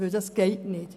Dies geht nicht.